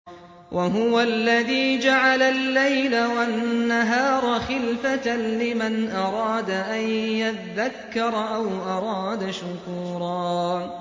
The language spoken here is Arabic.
وَهُوَ الَّذِي جَعَلَ اللَّيْلَ وَالنَّهَارَ خِلْفَةً لِّمَنْ أَرَادَ أَن يَذَّكَّرَ أَوْ أَرَادَ شُكُورًا